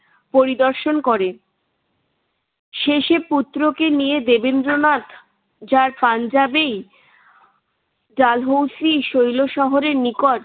পরিদর্শন করে শেষে পুত্রকে নিয়ে দেবেন্দ্রনাথ যার পাঞ্জাবি ডালহৌসি শৈল শহরের নিকট